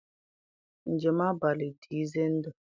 Njem abalị dị ize ndụ.